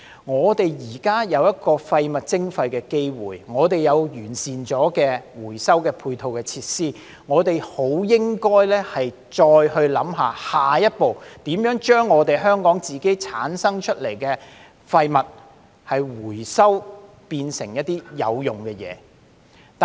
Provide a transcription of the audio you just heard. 我們現在既有廢物徵費的機會，有已完善的回收配套設施，我們便應考慮下一步，就是如何將香港自己產生的廢物回收並變成有用的物料。